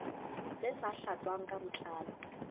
tse sa tlatswang ka botlalo